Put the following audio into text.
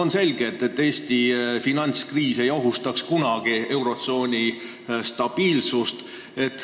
On selge, et Eesti finantskriis ei ohustaks kunagi eurotsooni finantsstabiilsust.